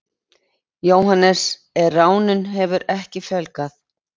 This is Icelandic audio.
Jóhannes: En ránum hefur ekki fjölgað?